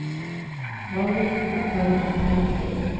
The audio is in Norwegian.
Valborg Bergheim